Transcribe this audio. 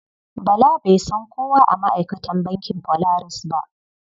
Bala bai san kowa a ma'aikatan bankin Polaris ba.